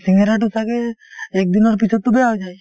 শিঙিৰাটো ছাগে একদিনৰ পিছততো বেয়া হৈ যায়